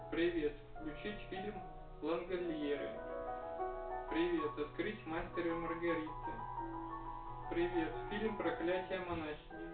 привет включить фильм лангольеры привет открыть мастер и маргарита привет фильм проклятие монахи